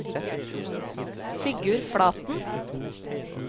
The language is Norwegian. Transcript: Sigurd Flaten